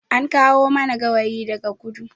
An kawo mana gawayi daga kudu